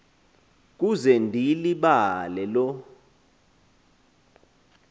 kuze ndiyilibale loo